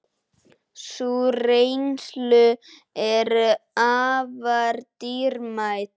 Sú reynsla er afar dýrmæt.